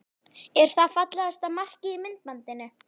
Er það fallegasta markið í myndbandinu?